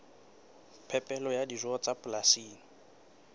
phepelo ya dijo tsa polasing